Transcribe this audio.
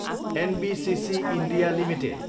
NBCC, India, limited